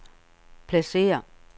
pladsér